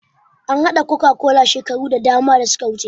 An haɗa coca-cola shekaru da dama da suka wuce